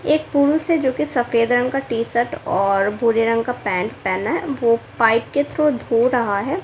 एक पुरुष है जो की सफेद रंग का टी शर्ट और भूरे रंग का पेंट पेहना है वो पाइप के थ्रू धो रहा है।